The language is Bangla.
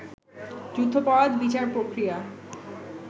যুদ্ধাপরাধ বিচার প্রক্রিয়া